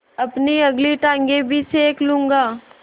अपनी अगली टाँगें भी सेक लूँगा